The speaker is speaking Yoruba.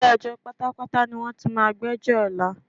Ilé-ẹjọ́ pátápátá ní wọ́n ti máa gbẹ́jọ́ ọ̀la.